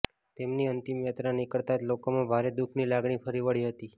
તેમની અંતિમયાત્રા નીકળતાં જ લોકોમાં ભારે દુઃખની લાગણી ફરી વળી હતી